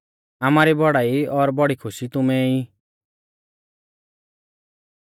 आमारी बौड़ाई और बौड़ी खुशी तुमै ऐ ई